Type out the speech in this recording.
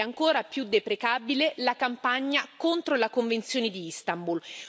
Ed è ancora più deprecabile la campagna contro la convenzione di Istanbul.